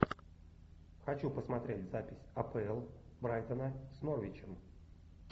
хочу посмотреть запись апл брайтона с норвичем